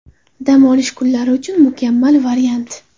Dam olish kunlari uchun mukammal variant.